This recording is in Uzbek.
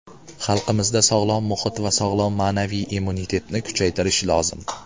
Xalqimizda sog‘lom muhit va sog‘lom ma’naviy immunitetni kuchaytirish lozim.